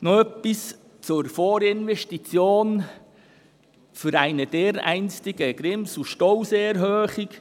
Noch etwas zur Vorinvestition für eine dereinstige Grimselstausee-Erhöhung.